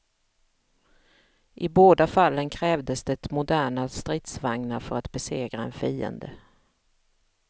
I båda fallen krävdes det moderna stridsvagnar för att besegra en fiende.